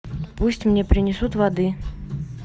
пусть мне принесут воды